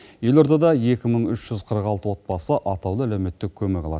елордада екі мың үш жүз қырық алты отбасы атаулы әлеуметтік көмек алады